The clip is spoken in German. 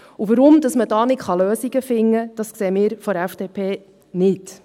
Warum man da keine Lösungen finden kann, sehen wir von der FDP nicht.